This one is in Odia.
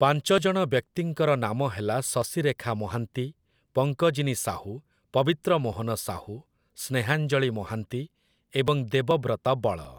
ପାଞ୍ଚଜଣ ବ୍ୟକ୍ତିଙ୍କର ନାମ ହେଲା ଶଶିରେଖା ମହାନ୍ତି, ପଙ୍କଜିନୀ ସାହୁ, ପବିତ୍ର ମୋହନ ସାହୁ, ସ୍ନେହାଞ୍ଜଳୀ ମହାନ୍ତି ଏବଂ ଦେବବ୍ରତ ବଳ ।